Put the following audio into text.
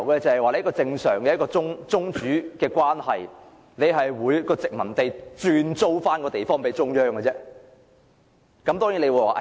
在一個正常的宗主關係下，殖民地怎會轉租一幅地方予中央？